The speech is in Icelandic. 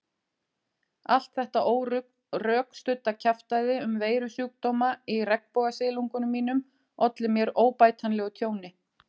Allt þetta órökstudda kjaftæði um veirusjúkdóma í regnbogasilungnum mínum olli mér óbætanlegu tjóni.